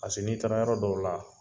n'i taara yɔrɔ dɔw la